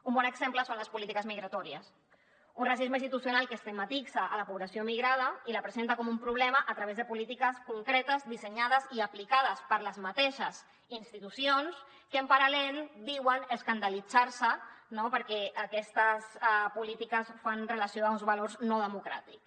un bon exemple són les polítiques migratòries un racisme institucional que estigmatitza la població migrada i la presenta com un problema a través de polítiques concretes dissenyades i aplicades per les mateixes institucions que en paral·lel diuen escandalitzar se no perquè aquestes polítiques fan relació a uns valors no democràtics